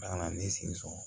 Kana na ne sen sɔrɔ